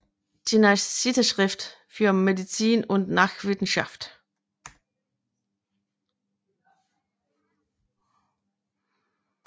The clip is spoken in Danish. Jenaische Zeitschrift für Medizin und Naturwissenschaft